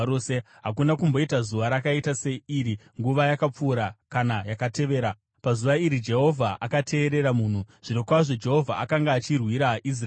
Hakuna kumboita zuva rakaita seiri nguva yakapfuura kana yakatevera, pazuva iri Jehovha akateerera munhu. Zvirokwazvo Jehovha akanga achirwira Israeri!